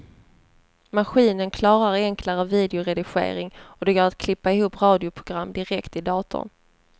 Maskinen klarar enklare videoredigering och det går att klippa ihop radioprogram direkt i datorn.